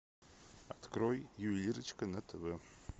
открой ювелирочка на тв